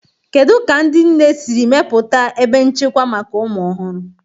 Kedu ka ndị nne siri mepụta ebe nchekwa maka ụmụ ọhụrụ?.